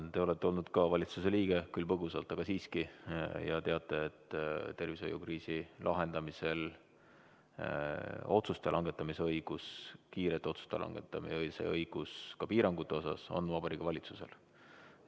Te olete olnud ka valitsuse liige, küll põgusalt, aga siiski, ja teate, et tervishoiukriisi lahendamisel otsuste langetamise õigus, kiirete otsuste langetamise õigus ka piirangute osas on Vabariigi Valitsusel.